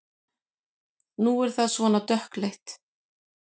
Nú er það svona dökkleitt!